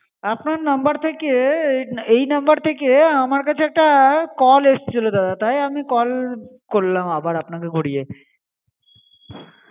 আপনার number থেকে এ এই number থেকে আমার কাছে একটা call এসেছিল দাদা তাই আমি call করলাম আবার আপনাকে ঘুরিয়ে।